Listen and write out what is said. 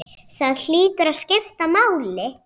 Það hlýtur að skipta máli?